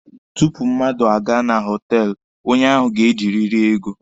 Tupu mmadụ aga na họtelụ, onye ahụ ga-ejiriri ego.